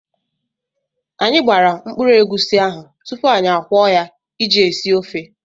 Anyị gbara mkpụrụ egusi ahụ tupu anyị akwọọ ya iji esi ofe.